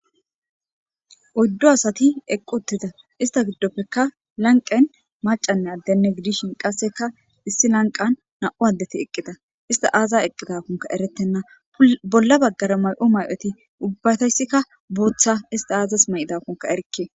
oyddo asati eqqu uttida ista giddoppekka lanqen macanne addenne gidishin qasseka issi lanqan na7u addeti eqqida ista aaza eqqidakonka eretenna bolla baggara may7o may7oti ubbatayssikka buoththa ista aazas ma7idakonka erkke